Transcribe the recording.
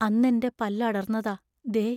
അന്നെന്റെ പല്ലടർന്നതാ, ദേ.